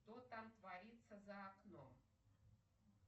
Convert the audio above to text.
что там творится за окном